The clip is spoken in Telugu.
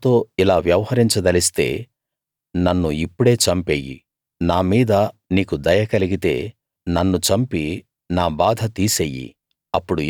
నువ్వు నాతో ఇలా వ్యవహరించదలిస్తే నన్ను ఇప్పుడే చంపెయ్యి నా మీద నీకు దయ కలిగితే నన్ను చంపి నా బాధ తీసెయ్యి